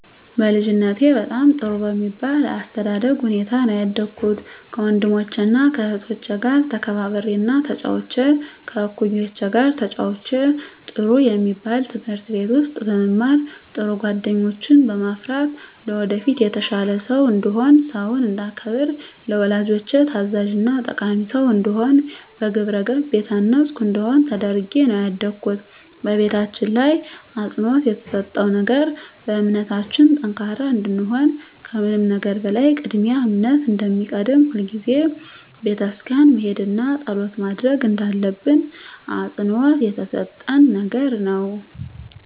በልጅነቴ በጣም ጥሩ በሚባል የአስተዳደግ ሁኔታ ነው ያደኩት ከወንድሞቸና ከእህቶቸ ጋር ተከባብሬና ተጫውቼ ከእኩዮቼ ጋር ተጫውቼ ጥሩ የሚባል ትምህርት ቤት ውስጥ በመማር ጥሩ ጓደኞችን በማፍራት ለወደፊት የተሻለ ሰው እንድሆን ሰውን እንዳከብር ለወላጆቼ ታዛዥና ጠቃሚ ሰው እንድሆን በግብረገብ የታነፅኩ እንድሆን ተደርጌ ነው ያደኩት በቤታችን ላይ አፅንዖት የተሰጠው ነገር በእምነታችን ጠንካራ እንድንሆን ከምንም ነገር በላይ ቅድሚያ እምነት እንደሚቀድም ሁልጊዜም ቤተክርስቲያን መሄድና ፀሎት ማድረግ እንዳለብን አፅንዖት የተሰጠን ነገር ነው።